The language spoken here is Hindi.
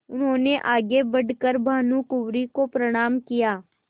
उन्होंने आगे बढ़ कर भानुकुँवरि को प्रणाम किया